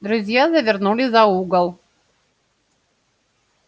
друзья завернули за угол